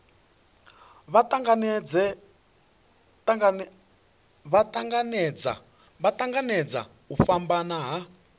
vha tanganedza u fhambana ha